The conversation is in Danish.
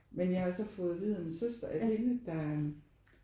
Men jeg har så fået at vide af min søster at hende der